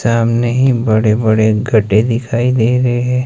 सामने ही बड़े बड़े गड्ढे दिखाई दे रहे--